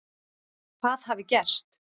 Hvað hafi gerst?